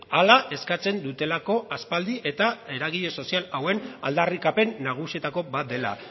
hala eskatzen dutelako aspaldi eta eragile sozial hauen aldarrikapen nagusietako bat dela